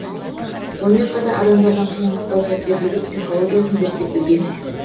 сонымен қатар адамдардың қиын қыстау сәттердегі психологиясын зерттеп білген